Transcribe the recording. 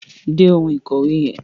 Dé oun ìkòwé yen